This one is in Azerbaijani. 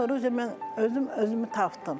Ondan sonra mən özüm özümü tapdım.